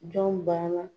Jɔn banna